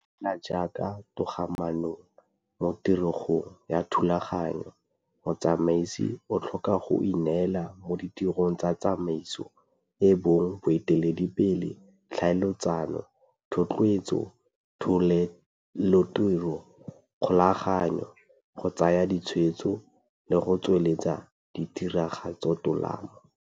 Fela jaaka mo togamaanong, mo tiregong ya thulaganyo, motsamaisi o tlhoka go ineela mo ditirong tsa tsamaiso, e bong boeteledipele, tlhaeletsano, thotloetso, tholelotiro, kgokaganyo, go tsaya ditshwetso le go tsweletsa tiregatsotolamo.